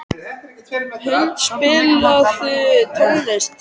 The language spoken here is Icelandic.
Huld, spilaðu tónlist.